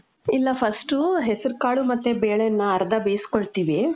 ಇಲ್ಲ. first ಹೆಸ್ರುಕಾಳು ಮತ್ತೆ ಬೇಳೆನ್ನ ಅರ್ಧ ಬೇಸ್ಕೊಳ್ತೀವಿ.